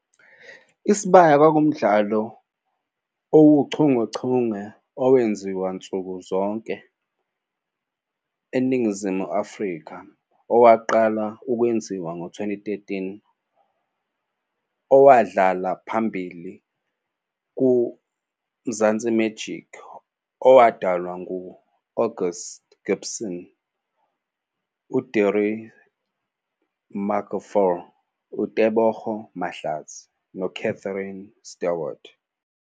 Isibaya kwakuwumdlalo owuchungechunge owenziwa nsuku zonke eNingizimu Afrika owaqala ukwenziwa ngo-2013, owadlala phambili kuMzansi Magic owadalwa ngu-Angus Gibson, Desiree Markgraaff, Teboho Mahlatsi noCatherine Stewart.